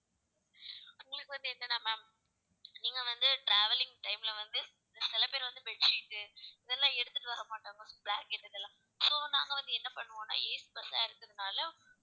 உங்களுக்கு வந்து, என்னனா ma'am நீங்க வந்து travelling time ல வந்து, சில பேர் வந்து bed sheet இதெல்லாம் எடுத்திட்டு வர மாட்டாங்களா blacket இதெல்லாம். so நாங்க வந்து என்ன பண்ணுவோம்னா AC bus ஆ இருக்கிறதுனால